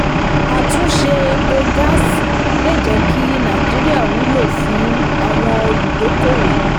àtúnṣe epo àti gáàsì lè jẹ́ kí nàìjíríà wúlò fún àwọn olùdókòwò.